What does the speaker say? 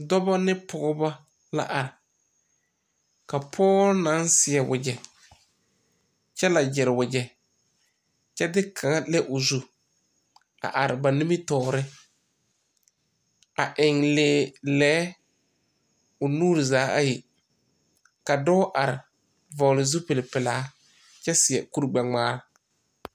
Dɔbɔ ne pɔgɔbɔ la are. Ka pɔgɔ na seɛ wagye kyɛ le gyire wagye, kyɛ de kanga le o zu a are ba nimitɔɔre. A eŋ leɛ o nuure zaa ayi. Ka dɔɔ are vogle zupul pulaa kyɛ seɛ kur gbɛ ŋmaa